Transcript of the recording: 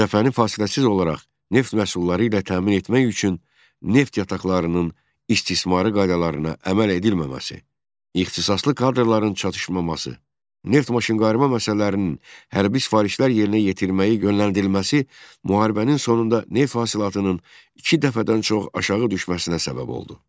Cəbhəni fasiləsiz olaraq neft məhsulları ilə təmin etmək üçün neft yataqlarının istismarı qaydalarına əməl edilməməsi, ixtisaslı kadrların çatışmaması, neft maşınqayırma məsələlərinin hərbi sifarişlər yerinə yetirməyə yönləndirilməsi müharibənin sonunda neft hasilatının iki dəfədən çox aşağı düşməsinə səbəb oldu.